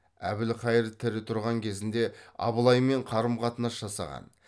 әбілқайыр тірі тұрған кезінде абылаймен қарым қатынас жасаған